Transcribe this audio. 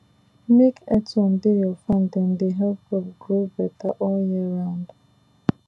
make earthworm dey your farm dem dey help crop grow better all year round